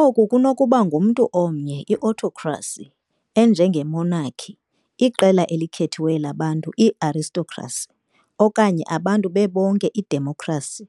Oku kunokuba ngumntu omnye, i-autocracy, enjenge-monarchy, iqela elikhethiweyo labantu, i-aristocracy, okanye abantu bebonke, idemokhrasi,